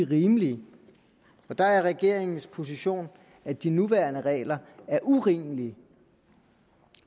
rimelige og der er regeringens position at de nuværende regler er urimelige